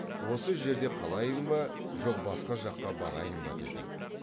осы жерде қалайын ба жоқ басқа жаққа барайын ба деді